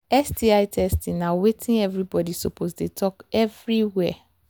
sti testing na watin everybody suppose the talk everywhere